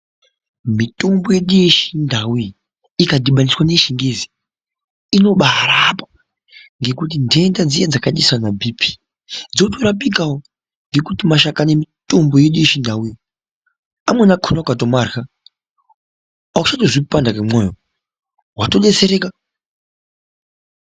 Mitombo yedu yechindau iyi ikadhibaniswa neye chingezi inoba rapa ngekuti ndenda dziya dzakaita sana BP inotorapawo Ngekuti mashakani emutombo wedu wechindau amweni akona ukatomarya auchatonzwi kupanda kwemoyo watodetsereka.